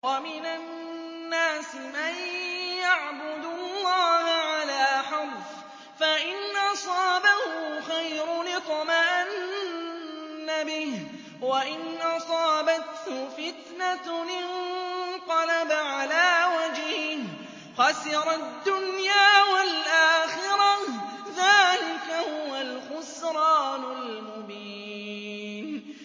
وَمِنَ النَّاسِ مَن يَعْبُدُ اللَّهَ عَلَىٰ حَرْفٍ ۖ فَإِنْ أَصَابَهُ خَيْرٌ اطْمَأَنَّ بِهِ ۖ وَإِنْ أَصَابَتْهُ فِتْنَةٌ انقَلَبَ عَلَىٰ وَجْهِهِ خَسِرَ الدُّنْيَا وَالْآخِرَةَ ۚ ذَٰلِكَ هُوَ الْخُسْرَانُ الْمُبِينُ